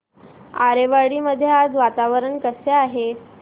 आरेवाडी मध्ये आज वातावरण कसे आहे